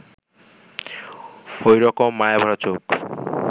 ওই রকম মায়াভরা চোখ